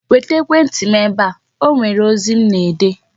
Weta ekwentị m ebe a. E nwere ozi m na-ede!